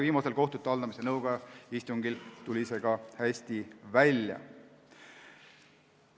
Viimasel kohtute haldamise nõukoja istungil tuli see ka hästi välja.